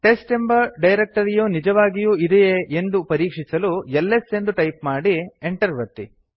test ಎಂಬ ಡೈರಕ್ಟರಿಯು ನಿಜವಾಗಿಯೂ ಇದೆಯೇ ಎಂದು ಪರೀಕ್ಷಿಸಲು ಎಲ್ಎಸ್ ಎಂದು ಟೈಪ್ ಮಾಡಿ enter ಒತ್ತಿ